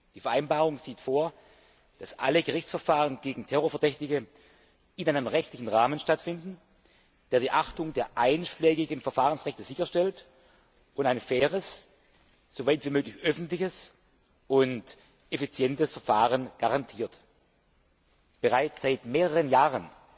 Die Vereinbarung sieht vor, dass alle Gerichtsverfahren gegen Terrorverdächtige in einem rechtlichen Rahmen stattfinden, der die Achtung der einschlägigen Verfahrensrechte sicherstellt und ein faires, so weit wie möglich öffentliches und effizientes Verfahrens garantiert. Bereits seit mehreren Jahren